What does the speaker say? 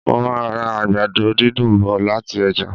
Mo màá ra àgbàdo dídùn bọ̀ lati ọ́jà